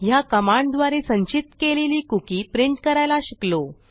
ह्या कमांडद्वारे संचित केलेली कुकी प्रिंट करायला शिकलो